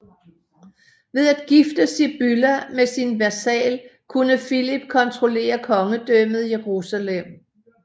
Ved at gifte Sibylla med sin vasal kunne Philip kontrollere Kongedømmet Jerusalem